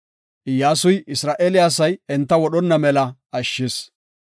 Iyyasuy Isra7eele asay enta wodhonna mela ashshis.